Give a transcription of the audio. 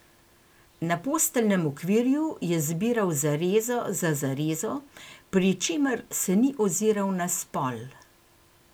Na posteljnem okvirju je zbiral zarezo za zarezo, pri čemer se ni oziral na spol.